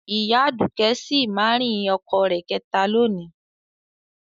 Ìyá Aduke si marying ọkọ rẹ̀ kẹta lónìí